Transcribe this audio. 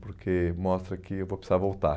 Porque mostra que eu vou precisar voltar.